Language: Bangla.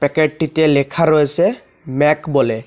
প্যাকেটটিতে লেখা রয়েসে ম্যাক বলে।